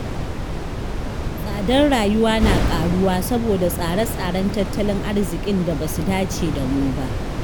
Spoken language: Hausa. Tsadar rayuwa na ƙaruwa saboda tsare-tsaren tattalin arziƙin da ba su dace da mu ba.